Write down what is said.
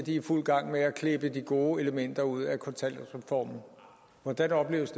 i fuld gang med at klippe de gode elementer ud af kontanthjælpsreformen hvordan opleves